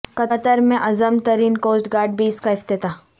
قطر میں اعظم ترین کوسٹ گارڈ بیس کا افتتاح